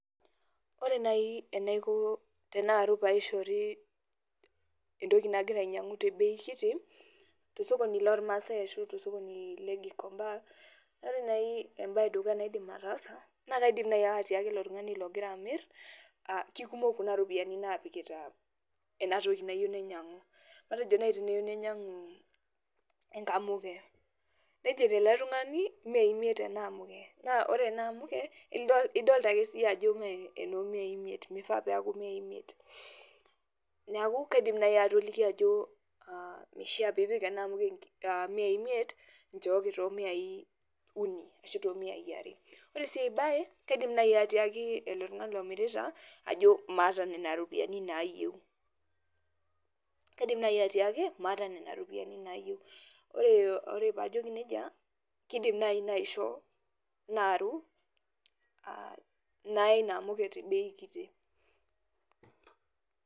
Ore nai enaiko tenearu entoki nagira ainyangu paishori te embei kiti tosokoni loo ilmaasai ashu tosokoni le gikomba, ore naii embaye edukuya naidim ataasa, naa kaidim naii atiaki ilo tungani logira amir kekumok kuna iropiyiani naagira apikita enatoki nayeu nainyang'u, matejo nai tanayeu nainyangu inkamuke, nejeito ele tungani miaai imiet ena amuke, naa ore anaa amuke idolita iyie ajo mee enoomiai imiet, meifaa peaku miai imiet, neaku kaidim nai atoliki ajo, meishaa piipik ena amuke miaii imiet, nchooki too miai uni ashu too miai are, ore sii aibaye, kaidim naii atiaki ilo tungani lomirita ajo maata nenia iropiyiani naayeu, kaidim naai atiaki maata nena iropiyiani naayeu, ore paajoki neja keidim naii paisho naaru, naya inaamuke te ebei kiti.